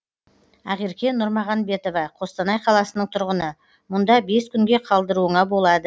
ақерке нұрмағамбетова қостанай қаласының тұрғыны мұнда бес күнге қалдыруыңа болады